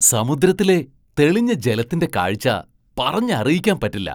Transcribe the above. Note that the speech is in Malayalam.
സമുദ്രത്തിലെ തെളിഞ്ഞ ജലത്തിന്റെ കാഴ്ച പറഞ്ഞറിയിക്കാൻ പറ്റില്ല !